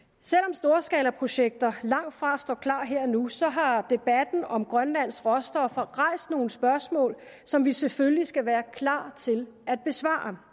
storskalaprojekter langtfra står klar her og nu så har debatten om grønlands råstoffer rejst nogle spørgsmål som vi selvfølgelig skal være klar til at besvare